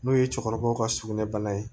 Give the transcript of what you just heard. N'o ye cɛkɔrɔbaw ka sugunɛbara ye